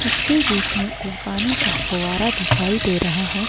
इसके बीच में एक पानी का फोवारा दिखाई दे रहा है।